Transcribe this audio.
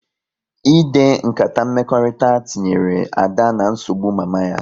Ịde nkata mmekọrịta tinyere Ada na nsogbu mama ya